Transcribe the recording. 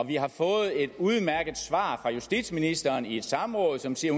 vi har fået et udmærket svar fra justitsministeren i et samråd som siger